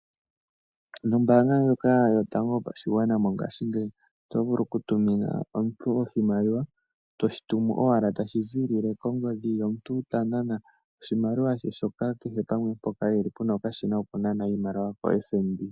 Nombaanga ndjoka yotango yopashigwana mongashingeyi oto vulu ku tumina omuntu oshimaliwa to shi tumu owala tashi ziilile kongodhi, ye omuntu ta nana oshimaliwa she shoka kehe pamwe mpoka e li pu na okashina kokunana oshimaliwa koFNB.